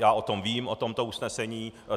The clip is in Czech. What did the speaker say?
Já o tom vím, o tomto usnesení.